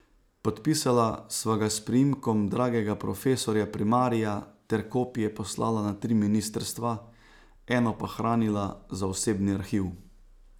Podpisala sva ga s priimkom dragega profesorja primarija ter kopije poslala na tri ministrstva, eno pa hranila za osebni arhiv.